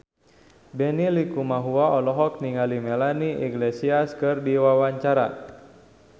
Benny Likumahua olohok ningali Melanie Iglesias keur diwawancara